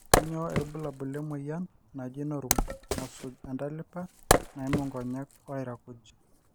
kanyioo irbulabul le moyian naji norum nasuj entalipa naimu nkonyek o lairakuj